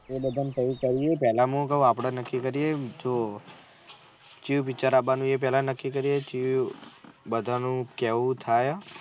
એ બધા ને કહ્યું કહ્યું પેહલા આપળે નક્કી કરીએ બીજો કેવું બિચારાનું બા એ નક્કી રીએ વું બધા નું કેવું થાય.